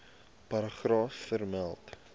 paragraaf vermeld